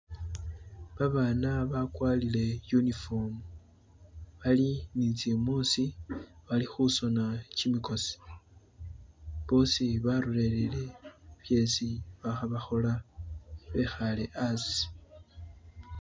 babaana bakwalile iyunifomu bali nitsibunsi bali husuna kyimikosi boosi barolelere shesi bahobahola wehale asi